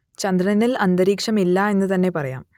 ചന്ദ്രനിൽ അന്തരീക്ഷം ഇല്ല എന്നു തന്നെ പറയാം